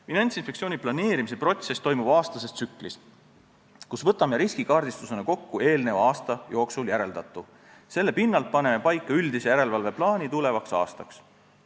Finantsinspektsiooni planeerimise protsess toimub aastases tsüklis, me võtame riskikaardistusena kokku eelneva aasta jooksul järeldatu ja selle pinnalt paneme paika üldise järelevalveplaani tulevaks aastaks.